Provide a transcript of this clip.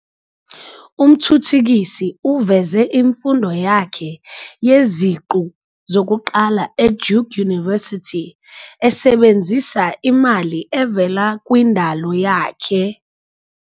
Umthuthukisi uveze imfundo yakhe yeziqu zokuqala eDuke University esebenzisa imali evela kwindalo yakhe.